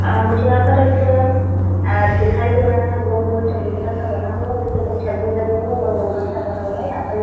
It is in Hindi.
मुझे यहाँ पर एक अ दिखाई दे रहा है गोल लम्बा चबूतरा सा बना हुआ। उसके ऊपर छत भी बनी हुई है। ऊपर गुम्बद सा बना हुआ है। यहाँ पर --